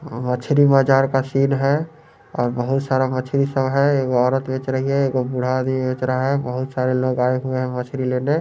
मछली बाजार का सीन है और बहुत सारा मछली सब है एगो औरत बेच रही है एगो बूढ़ा आदमी बेच रहा है बहुत सारे लोग आये हुए है मछली लेने।